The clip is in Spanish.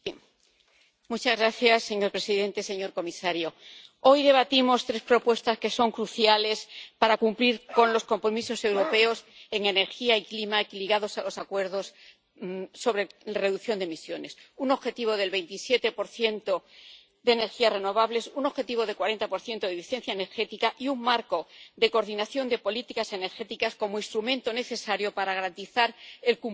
Señor presidente, señor comisario, hoy debatimos tres propuestas que son cruciales para cumplir los compromisos europeos en energía y clima ligados a los acuerdos sobre reducción de emisiones un objetivo del 27 de energías renovables, un objetivo del 40 de eficiencia energética y un marco de coordinación de políticas energéticas como instrumento necesario para garantizar el cumplimiento de estos objetivos.